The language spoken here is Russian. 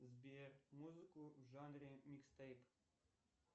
сбер музыку в жанре микстейп